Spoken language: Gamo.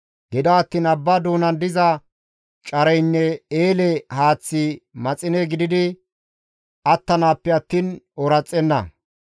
Gido attiin abba doonan diza careynne eele haaththi maxine gididi attanappe attiin ooraxenna.